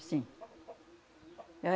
Sim.